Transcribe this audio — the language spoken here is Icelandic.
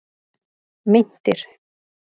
Meintir